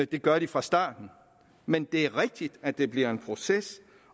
det gør de fra starten men det er rigtigt at det bliver en proces